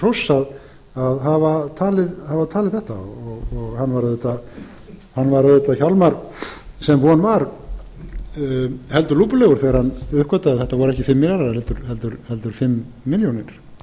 hróss að hafa talið þetta hjálmar var auðvitað sem von var heldur lúpulegur þegar hann uppgötvaði að þetta voru ekki fimm milljarðar heldur fimm milljónir það